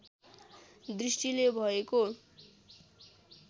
दृष्टिले भएको